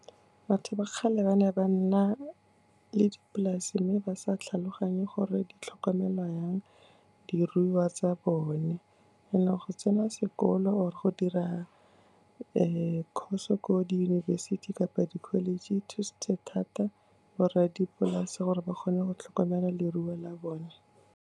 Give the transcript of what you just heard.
Batho ba kgale ba ne ba nna le dipolase mme ba sa tlhaloganye gore di tlhokomelwa jang, diruiwa tsa bone. Go ne go sena sekolo or-e go dira course-o ko diyunibesithi kapa di-college, e thusitse thata borradipolase gore ba kgone go tlhokomela leruo la bone.